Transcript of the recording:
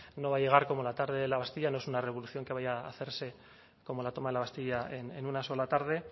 no va a llegar como la toma de la bastilla no es una revolución que vaya a hacerse como la toma de la bastilla en una sola tarde